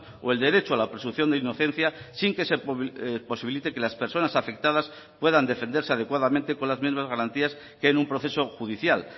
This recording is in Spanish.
o el derecho a la presunción de inocencia sin que se posibilite que las personas afectadas puedan defenderse adecuadamente con las mismas garantías que en un proceso judicial